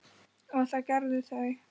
og það gerðu þau.